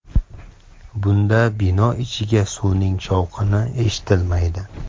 Bunda bino ichiga suvning shovqini eshitilmaydi.